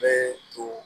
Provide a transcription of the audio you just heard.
Bɛɛ don